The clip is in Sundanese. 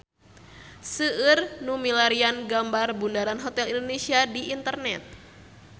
Seueur nu milarian gambar Bundaran Hotel Indonesia di internet